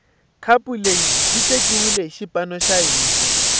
khapu leyi yi tekiwile hi xipano xa hina